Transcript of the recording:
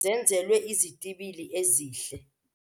Iinyawo zenkweli yehashe zenzelwe izitibili ezihle.